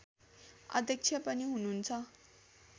अध्यक्ष पनि हुनुहुन्छ